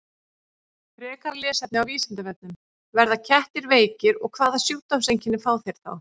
Frekara lesefni á Vísindavefnum: Verða kettir veikir og hvaða sjúkdómseinkenni fá þeir þá?